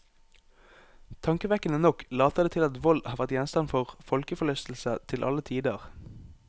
Tankevekkende nok later det til at vold har vært gjenstand for folkeforlystelse til alle tider.